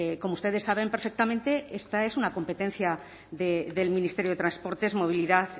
como ustedes saben perfectamente esta es una competencia del ministerio de transportes movilidad